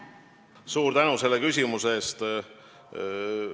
Suur tänu selle küsimuse eest!